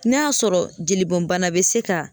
N'a y'a sɔrɔ jelibɔn bana bɛ se k'a